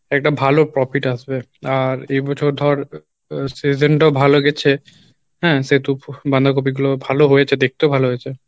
একটা ভালো profit আসবে আর এ বছর ধর আহ season টাও ভালো গেছে হ্যাঁ সেহেতু বাঁধাকপি গুলো ভালো হয়েছে দেখতেও ভালো হয়েছে